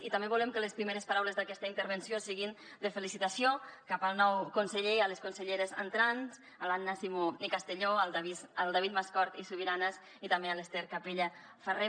i també volem que les primeres paraules d’aquesta intervenció siguin de felicitació cap al nou conseller i a les conselleres entrants a l’anna simó i castelló al david mascort i subiranas i també a l’ester capella farré